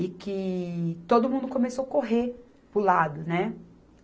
e que todo mundo começou correr para o lado, né?